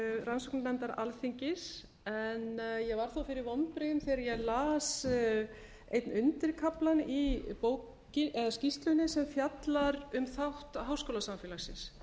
rannsóknarnefndar alþingis en ég varð þó fyrir vonbrigðum þegar ég las einn undirkaflann í skýrslunni sem fjallar um þátt háskólasamfélagsins